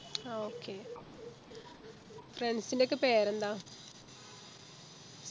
ആ okay friends ൻ്റെ യൊക്കെ പേരെന്താ